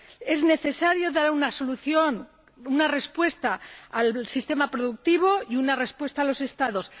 Es necesario dar una solución, una respuesta al sistema productivo y una respuesta a los Estados.